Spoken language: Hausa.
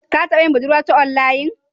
Ka taba yin budurwa ta onlayin?